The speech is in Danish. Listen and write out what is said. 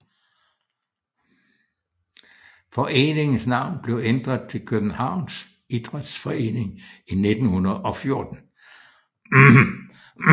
Foreningens navn blev ændret til Københavns Idræts Forening i 1914